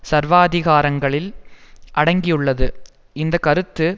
சர்வாதிகாரங்களில் அடங்கியுள்ளது இந்த கருத்து